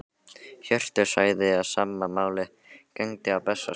Hjörtur sagði að sama máli gegndi á Bessastöðum.